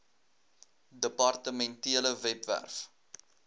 depar tementele webwerf